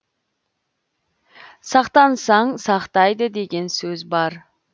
сақтансаң сақтайды деген сөз бар